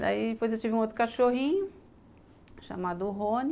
Daí depois eu tive um outro cachorrinho chamado Rony